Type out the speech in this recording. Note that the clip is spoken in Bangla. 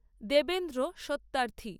দেবেন্দ্র সত্যার্থী